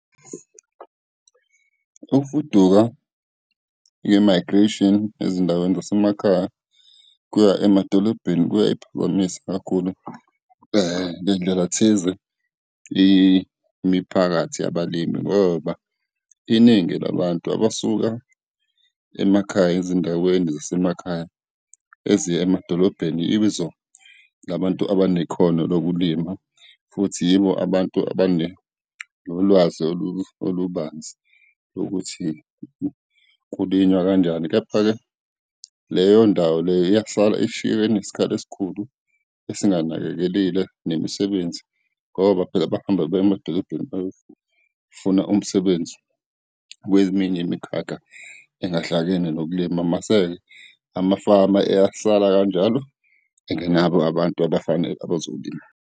Ukufuduka, i-migration ezindaweni zasemakhaya kuya emadolobheni, kuyayiphazamisa kakhulu ngendlelathize imiphakathi yabalimi ngoba iningi labantu abasuka emakhaya, ezindaweni zasemakhaya eziya emadolobheni, labantu abanekhono lokulima futhi yibo abantu nolwazi olubanzi lokuthi kulinywa kanjani. Kepha-ke, leyo ndawo leyo iyahlala ishiywe inesikhala esikhulu esinganakekelile nemisebenzi ngoba phela bahamba baye emadolobheni bayofuna umsebenzi kweminye imikhakha engahlangene nokulima, mase-ke amafama eyasala kanjalo engenabo abantu abazolima.